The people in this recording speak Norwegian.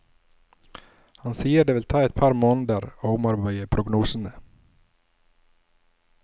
Han sier det vil ta et par måneder å omarbeide prognosene.